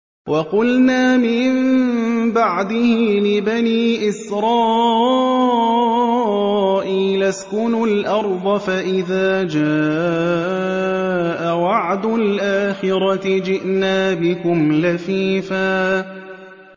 وَقُلْنَا مِن بَعْدِهِ لِبَنِي إِسْرَائِيلَ اسْكُنُوا الْأَرْضَ فَإِذَا جَاءَ وَعْدُ الْآخِرَةِ جِئْنَا بِكُمْ لَفِيفًا